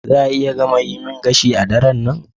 Za a iya gama yi min gashi a daren nan?